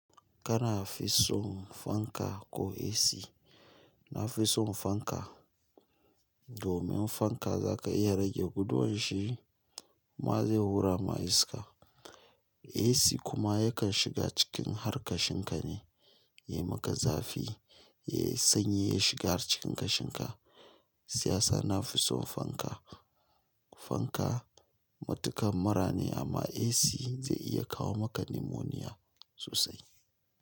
Kana, fi son fanka ko AC? Na fi son fanka. Domun fanka za ka iya rage guduwan shi ze hura ma iska. AC kuma yakan shiga cikin har ka shinka ne, ya maka zafi, yai sanyi ya shiga har cikin kashinka. Siyasa na fi son fanka. Fanka matukar mura ne amma AC, zai iya kawo maka limoniya sosai.